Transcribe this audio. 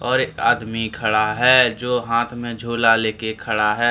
और आदमी खड़ा है जो हाथ में झोला लेके खड़ा है।